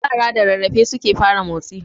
Yara da rarrafe suke fara motsi